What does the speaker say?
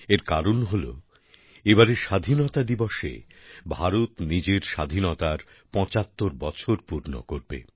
এর কারণ হল এবারের স্বাধীনতা দিবসে ভারত নিজের স্বাধীনতার পঁচাত্তর বছর পূর্ণ করবে